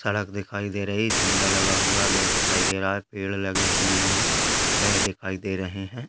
सड़क दिखाई दे रही है झंडा लगा हुआ है बैग दिखाई दे रहा है पेड़ लगे हुए हैं बैग दिखाई दे रहे हैं।